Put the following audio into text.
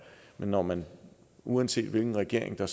men når man uanset hvilken regering der